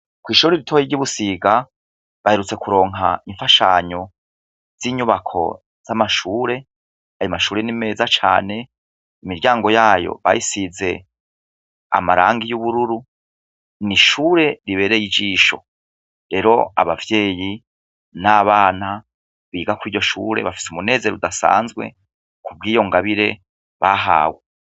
Kw'ishure ritoya ry'i Busiga, baherutse kuronka imfashanyo z'inyubako z'amashure. Ayo mashure ni meza cane, imiryango yayo bayisize amarangi asa n'ubururu. N'ishure ibereye ijisho. Rero abavyeyi n'abana biga kuri iryo shure,